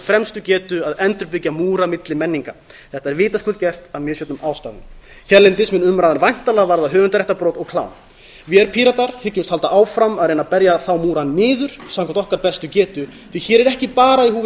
fremstu getu að endurbyggja múra milli menninga þetta er vitaskuld gert af misjöfnum ástæðum hérlendis mun umræðan væntanlega varða höfundaréttarbrot og klám vér píratar hyggjumst halda áfram að reyna að berja þá múra niður samkvæmt okkar bestu getu því að hér er ekki bara í húfi